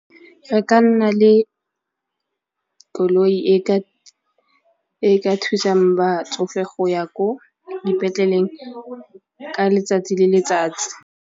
Re ka nna le ka koloi e ka thusang batsofe go ya ko dipetleleng ka letsatsi le letsatsi.